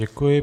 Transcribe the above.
Děkuji.